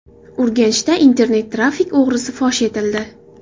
Urganchda internet-trafik o‘g‘risi fosh etildi.